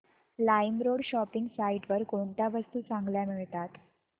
LimeRoad shopping site वर कोणत्या वस्तू चांगल्या मिळतात